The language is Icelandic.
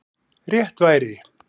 Rétt væri